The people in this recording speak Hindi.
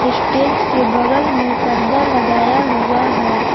स्टेज के बगल में पर्दा लगाया हुआ है।